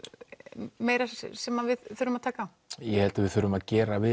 meira sem við þurfum að taka á ég held að við þurfum að gera við